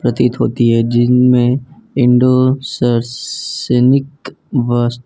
प्रतीत होती है जिनमें बस।